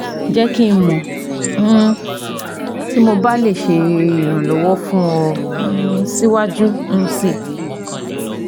Jẹ ki n mọ um ti mo ba le ṣe iranlọwọ fun ọ um siwaju um sii